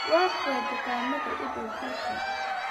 Waa kuwee dukaamada u dhow halkan?